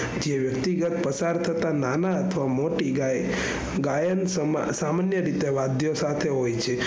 વ્યક્તિગત પસારથતા નાના અથવા મોટી ગાય ગાયનશામાં સામાન્યરીતે વાદ્ય સાથે હોય છે.